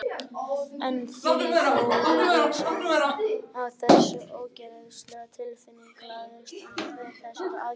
En því fór víðsfjarri að þessi óþægilega tilfinning lagaðist neitt við þessar aðgerðir.